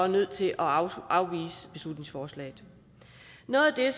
nødt til afvise beslutningsforslaget noget af